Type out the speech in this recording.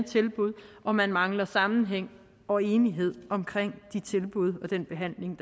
og hvor man mangler sammenhæng og enighed omkring de tilbud og den behandling